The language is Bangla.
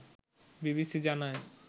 বিবিসি জানায়